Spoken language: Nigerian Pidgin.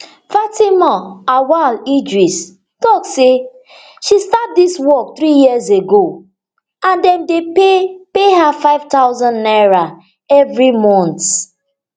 fatima auwal idris tok say she start dis work three years ago and dem dey pay pay her five thousand naira evri month